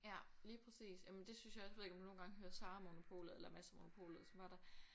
Ja lige præcis jamen det synes jeg også jeg ved ikke om du nogle gange hører Sara & Monopolet eller Mads & Monopolet og så var der